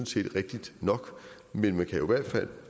set rigtigt nok men man kan jo i hvert fald